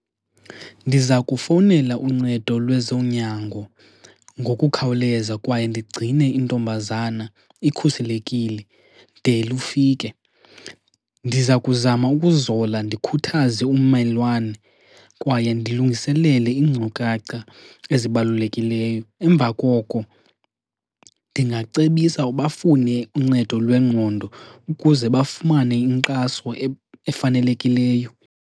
Ndiza kufowunela uncedo lwezonyango ngokukhawuleza kwaye ndigcine intombazana ikhuselekile de lufike. Ndiza kuzama ukuzola ndikhuthaze ummelwane kwaye ndilungiselele iinkcukacha ezibalulekileyo, emva koko ndingacebisa uba bafune uncedo lwengqondo ukuze bafumane inkxaso efanelekileyo.